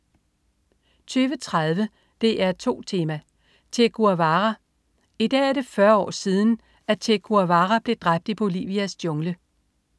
20.30 DR2 Tema: Che Guevara. I dag er det 40 år siden, at Che Guevara blev dræbt i Bolivias jungle